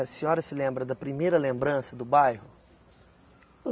A senhora se lembra da primeira lembrança do bairro?